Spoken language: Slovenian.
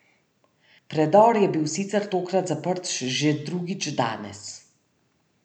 Predor je bil sicer tokrat zaprt že drugič danes.